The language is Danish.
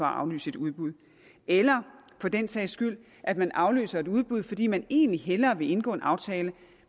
aflyse et udbud eller for den sags skyld at man aflyser et udbud fordi man egentlig hellere vil indgå en aftale